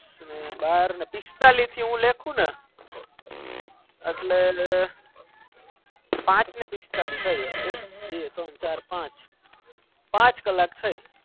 બાર ન પિસ્તાલીસ મેં લીખુને પાંચ ન પિસ્તાલીસ થાય એક બે ત્રણ ચાર પાંચ પાંચ કલક થાય